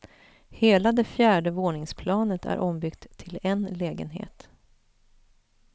Hela det fjärde våningsplanet är ombyggt till en lägenhet.